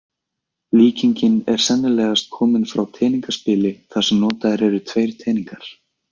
Líkingin er sennilegast komin frá teningaspili þar sem notaðir eru tveir teningar.